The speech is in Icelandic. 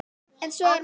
En svo var ekki.